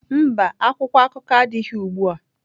Mba, akwụkwọ akụkọ adịghị ugbu a.